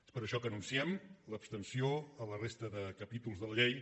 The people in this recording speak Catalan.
és per això que anunciem l’abstenció a la resta de capítols de la llei